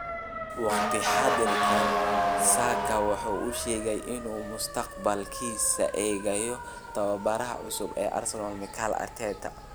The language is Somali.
Wakhti xaadirkan Saka waxa uu sheegay in uu mustaqbalkiisa eegayo tababaraha cusub ee Arsenal Mikel Arteta.